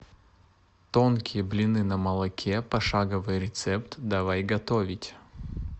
тонкие блины на молоке пошаговый рецепт давай готовить